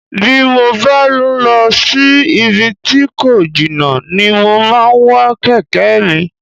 Bí mo bá ń lọ sí ibi tí kò jìnnà ni mo máa ń wa kẹ̀kẹ́ mi